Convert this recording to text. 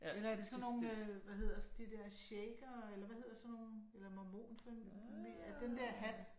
Eller er det sådan nogle øh hvad hedder de der shakere eller hvad hedder sådan nogen eller mormon eller. Den der hat?